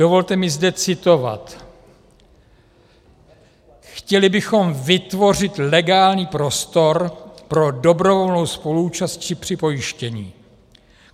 Dovolte mi zde citovat: Chtěli bychom vytvořit legální prostor pro dobrovolnou spoluúčast při připojištění.